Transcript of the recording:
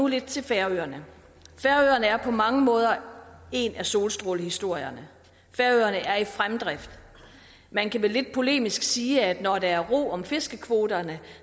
lidt til færøerne færøerne er på mange måder en af solstrålehistorierne færøerne er i fremdrift man kan vel lidt polemisk sige at når der er ro om fiskekvoterne er